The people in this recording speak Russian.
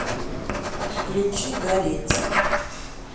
включи гореть